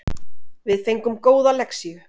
Við fengum góða lexíu